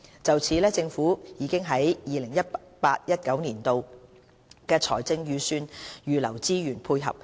就此，政府已於 2018-2019 年度的財政預算預留資源配合。